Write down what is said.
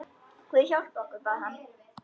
Guð hjálpi okkur, bað hann.